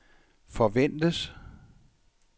forventes